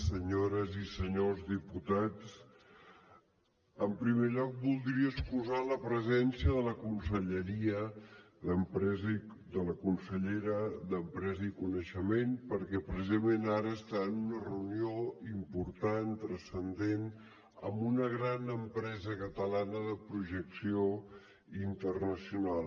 senyores i senyors diputats en primer lloc voldria excusar la presència de la conselleria d’empresa de la consellera d’empresa i coneixement perquè precisament ara està en una reunió important transcendent amb una gran empresa catalana de projecció internacional